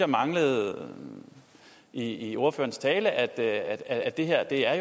manglede i ordførerens tale at det at det her er